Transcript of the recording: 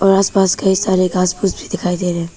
और आस पास कई सारे घास फूस भी दिखाई दे रहे हैं।